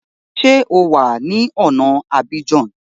Ṣé o wà ní ọ̀na Abidjan?